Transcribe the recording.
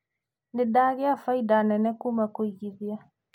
Nĩ ndagĩa bainda nene kuuma kũigithia.